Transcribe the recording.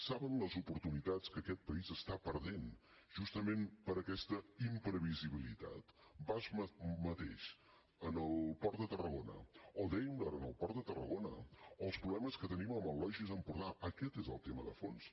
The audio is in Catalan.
saben les oportunitats que aquest país està perdent justament per aquesta imprevisibilitat basf mateix en el port de tarragona o daimler en el port de tarragona o els problemes que tenim amb el logis empordà aquest és el tema de fons